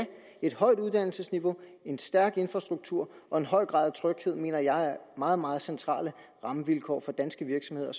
et højt uddannelsesniveau en stærk infrastruktur og en høj grad af tryghed mener jeg er meget meget centrale rammevilkår for danske virksomheder